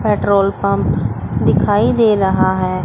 Petrol pump दिखाई दे रहा है।